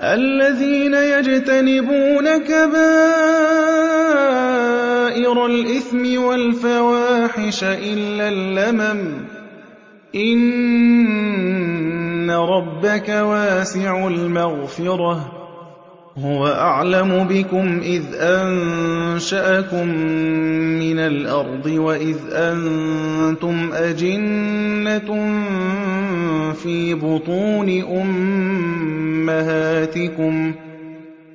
الَّذِينَ يَجْتَنِبُونَ كَبَائِرَ الْإِثْمِ وَالْفَوَاحِشَ إِلَّا اللَّمَمَ ۚ إِنَّ رَبَّكَ وَاسِعُ الْمَغْفِرَةِ ۚ هُوَ أَعْلَمُ بِكُمْ إِذْ أَنشَأَكُم مِّنَ الْأَرْضِ وَإِذْ أَنتُمْ أَجِنَّةٌ فِي بُطُونِ أُمَّهَاتِكُمْ ۖ